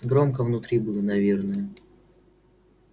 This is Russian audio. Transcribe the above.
громко внутри было наверное